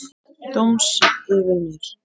Dóms yfir mér.